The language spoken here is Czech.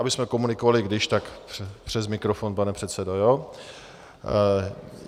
Abychom komunikovali když tak přes mikrofon, pane předsedo, jo?